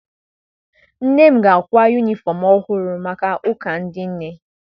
Nne m ga-akwa yunifọm ọhụrụ maka ụka ndị nne.